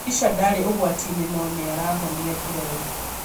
Rudisha ndarĩ ũgwati-inĩ no nĩarahonia nguraro